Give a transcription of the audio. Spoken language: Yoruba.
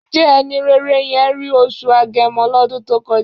Ǹjẹ́ ẹni rere yẹn rí oṣù Agẹmọ lọ́dún tó kọjá?